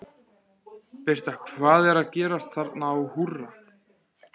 Birta, hvað er að gerast þarna á Húrra?